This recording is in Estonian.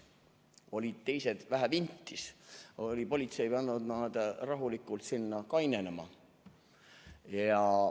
Olid teised vähe vintis ja politsei oli pannud nad rahulikult sinna kainenema.